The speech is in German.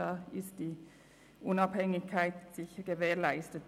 Somit ist die Unabhängigkeit sicher gewährleistet.